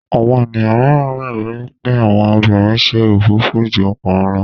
Àwọn ènìyàn míràn gbagbọ wipe àwọn obìrin ṣe òfófó jù ọkùnrin ló